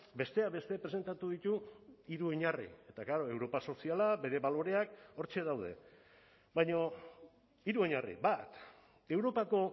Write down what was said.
besteak beste presentatu ditu hiru oinarri eta klaro europa soziala bere baloreak hortxe daude baina hiru oinarri bat europako